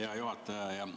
Hea juhataja!